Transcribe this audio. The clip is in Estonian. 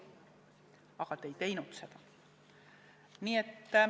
Aga te ei teinud seda.